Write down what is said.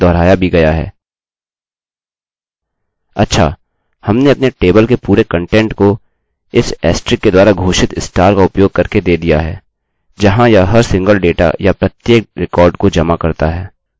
अच्छा हमने अपने टेबलतालिकाके पूरे कन्टेन्ट को इस ऐस्टरिक के द्वारा घोषित स्टार का उपयोग करके दे दिया है जहाँ यह हर सिंगल डेटा या प्रत्येक रिकार्ड अभिलेखको जमा करता है